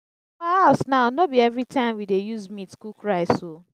for our house now no be everytime we dey use meat cook rice oo